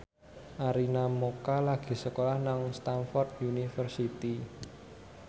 Arina Mocca lagi sekolah nang Stamford University